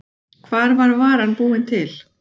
Hvar var varan búin til?